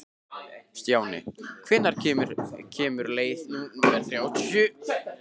Stjáni, hvenær kemur leið númer þrjátíu?